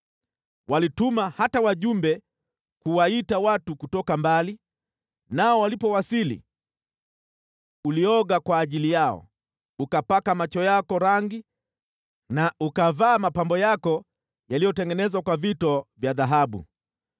“Walituma hata wajumbe kuwaita watu kutoka mbali, nao walipowasili ulioga kwa ajili yao, ukapaka macho yako rangi na ukavaa mapambo yako yaliyotengenezwa kwa vito vya dhahabu.